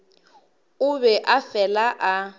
o be a fela a